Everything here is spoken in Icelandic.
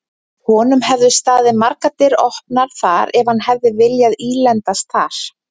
Honum hefðu staðið margar dyr opnar þar ef hann hefði viljað ílendast þar.